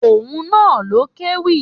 Òun na ló kéwì.